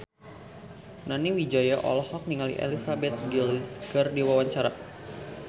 Nani Wijaya olohok ningali Elizabeth Gillies keur diwawancara